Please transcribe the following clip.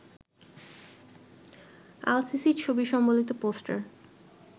আল-সিসির ছবি সম্বলিত পোস্টার